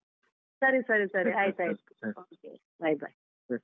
ಸರಿ ಸರಿ ಸರಿ ಆಯ್ತಾಯ್ತು bye bye .